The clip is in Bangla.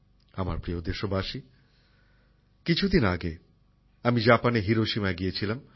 আমার প্রিয় দেশবাসী কিছুদিন আগে আমি জাপানের হিরোশিমায় গিয়েছিলাম